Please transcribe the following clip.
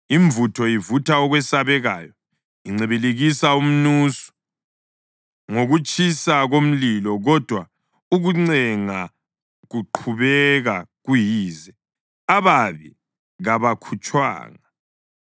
Imvutho ivutha okwesabekayo incibilikisa umnusu ngokutshisa komlilo kodwa ukucenga kuqhubeka kuyize, ababi kabakhutshwanga.